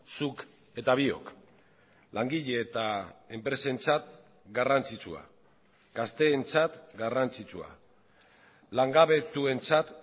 zuk eta biok langile eta enpresentzat garrantzitsua gazteentzat garrantzitsua langabetuentzat